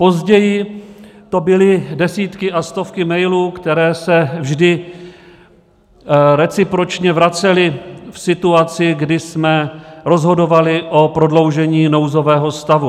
Později to byly desítky a stovky mailů, které se vždy recipročně vracely v situaci, kdy jsme rozhodovali o prodloužení nouzového stavu.